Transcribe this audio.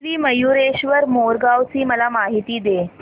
श्री मयूरेश्वर मोरगाव ची मला माहिती दे